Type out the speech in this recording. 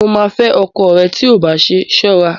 Mo ma fẹ́ ọkọ ẹ tí ò bá ṣe ṣọ́ra